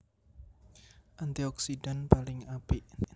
Antioksidan paling apik